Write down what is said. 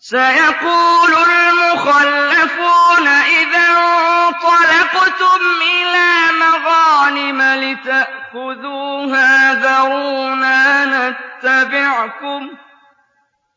سَيَقُولُ الْمُخَلَّفُونَ إِذَا انطَلَقْتُمْ إِلَىٰ مَغَانِمَ لِتَأْخُذُوهَا ذَرُونَا نَتَّبِعْكُمْ ۖ